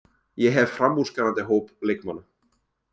Ég hef framúrskarandi hóp leikmanna.